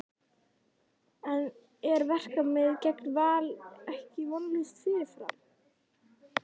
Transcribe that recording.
En er verkefnið gegn Val ekki vonlaust fyrirfram?